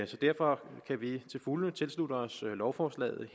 så derfor kan vi til fulde tilslutte os lovforslaget